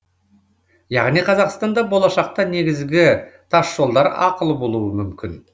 яғни қазақстанда болашақта негізгі тасжолдар ақылы болуы мүмкін